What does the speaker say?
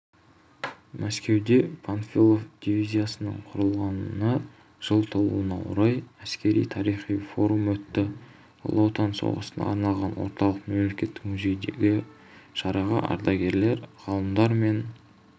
мәскеуде панфилов дивизиясының құрылғанына жыл толуына орай әскери-тарихи форум өтті ұлы отан соғысына арналған орталық мемлекеттік музейдегі шараға ардагерлер ғалымдар мен